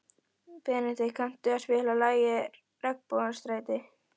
Benedikt, kanntu að spila lagið „Regnbogans stræti“?